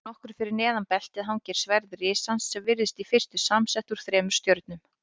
Nokkru fyrir neðan beltið hangir sverð risans sem virðist í fyrstu samsett úr þremur stjörnum.